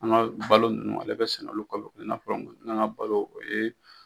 An ka balo ninnu ale bɛ sɛnɛ na an ka balo o ye.